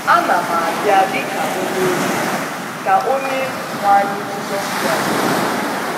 Ana m abịa dị ka onye ohi, ” ka Onyenwe anyị Jizọs Kraịst na - ekwu.